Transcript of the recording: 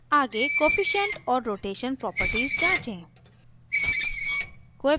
आगे coefficient coefficient और rotation properties जाँचें